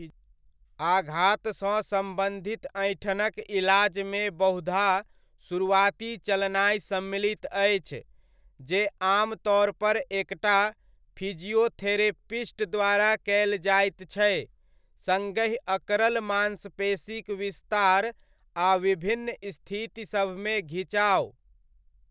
आघात सँ सम्बन्धित ऐंठनक इलाजमे बहुधा शुरुआती चलनाय सम्मिलित अछि, जे आमतौर पर एकटा फिजियोथेरेपिस्ट द्वारा कयल जाइत छै, सङ्गहि अकड़ल मांसपेशीक विस्तार आ विभिन्न स्थितिसभमे घिचाव।